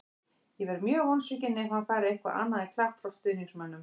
Ég verð mjög vonsvikinn ef hann fær eitthvað annað en klapp frá stuðningsmönnum.